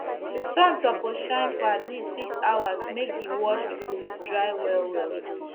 sun suppose shine for at least 6 hours make d washed food dry well well